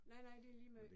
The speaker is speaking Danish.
Nej, nej, det ligemeget